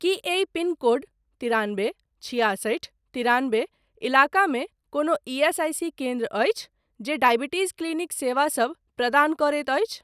की एहि पिनकोड तिरानबे छिआसठि तिरानबे इलाकामे कोनो ईएसआईसी केन्द्र अछि जे डॉयबिटीज़ क्लिनिक सेवा सब प्रदान करैत अछि।